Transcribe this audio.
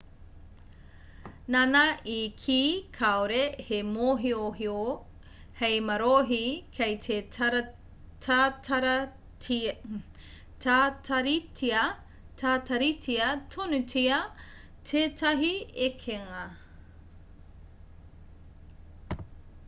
nāna i kī kāore he mōhiohio hei marohi kei te tataritia tonutia tētahi ekenga